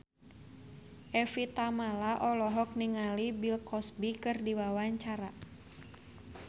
Evie Tamala olohok ningali Bill Cosby keur diwawancara